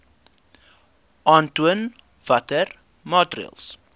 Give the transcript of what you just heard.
aantoon watter maatreëls